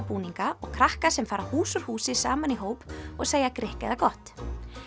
búninga og krakka sem fara hús úr húsi saman í hóp og segja grikk eða gott